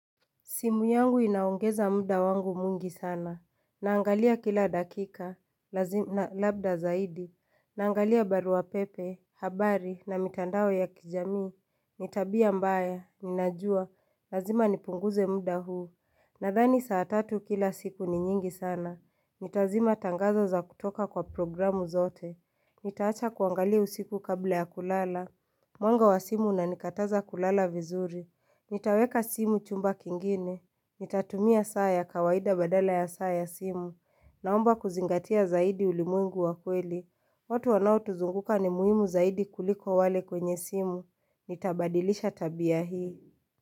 Simu yangu inaongeza muda wangu mwingi sana. Naangalia kila dakika. Lazima labda zaidi. Naangalia barua pepe, habari na mitandao ya kijamii. Ni tabia mbaya. Ninajua. Lazima nipunguze muda huu. Nadhani saa tatu kila siku ni nyingi sana. Nitazima tangazo za kutoka kwa programu zote. Nitaacha kuangalia usiku kabla ya kulala. Mwanga wa simu unanikataza kulala vizuri. Nitaweka simu chumba kingine, nitatumia saa ya kawaida badala ya saa ya simu, naomba kuzingatia zaidi ulimwengu wa kweli, watu wanaotuzunguka ni muhimu zaidi kuliko wale kwenye simu, nitabadilisha tabia hii.